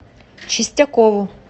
чистякову